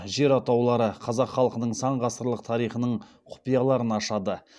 жер атаулары қазақ халқының сан ғасырлық тарихының құпияларын ашады